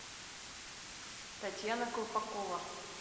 татьяна колпакова